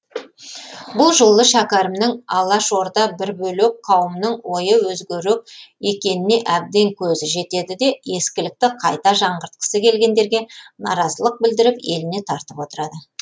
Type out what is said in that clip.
бұл жолы шәкәрімнің алашорда бір бөлек қауымның ойы өзгерек екеніне әбден көзі жетеді де ескілікті қайта жаңғыртқысы келгендерге наразылық білдіріп еліне тартып отырады